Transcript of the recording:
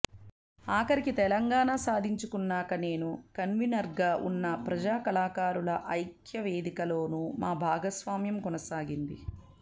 ఆఖరికి తెలంగాణ సాధించుకున్నాక నేను కన్వీనర్గా ఉన్న ప్రజా కళాకారుల ఐక్యవేదికలోనూ మా భాగస్వామ్యం కొనసాగింది